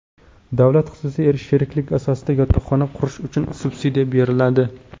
Davlat-xususiy sheriklik asosida yotoqxona qurish uchun subsidiya beriladi.